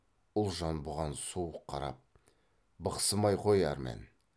ұлжан бұған суық қарап бықсымай қой әрман